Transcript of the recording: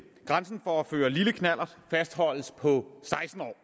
grænsen for at føre lille knallert fastholdes på seksten år